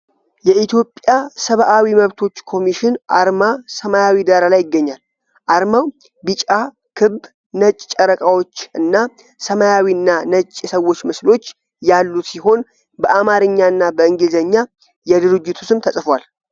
የኢትዮጵያ ሰብዓዊ መብቶች ኮሚሽን አርማ ሰማያዊ ዳራ ላይ ይገኛል። አርማው ቢጫ ክብ፣ ነጭ ጨረቃዎች እና ሰማያዊና ነጭ የሰዎች ምስሎች ያሉት ሲሆን፣ በአማርኛ እና በእንግሊዝኛ የድርጅቱ ስም ተጽፏል።